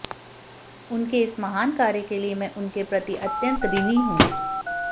उनके इस महान कार्यके लिए मैं उनके प्रति अत्यंत ऋणी हूं